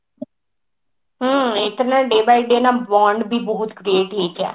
ହଁ ଏଇଟାରେ ବି day day ବି bond ବି ବହୁତ create ହେଇଯାଏ